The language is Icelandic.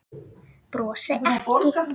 Brosi ekki.